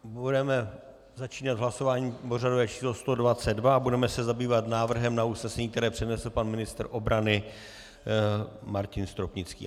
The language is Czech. Budeme začínat hlasováním pořadové číslo 122 a budeme se zabývat návrhem na usnesení, které přednesl pan ministr obrany Martin Stropnický.